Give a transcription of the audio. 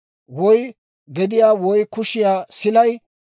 woy gediyaa woy kushiyaa silay,